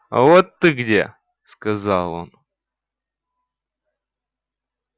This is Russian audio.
вот ты где сказал он